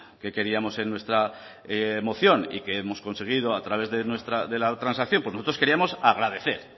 que queríamos en nuestra moción y que hemos conseguido a través de la transacción pues nosotros queríamos agradecer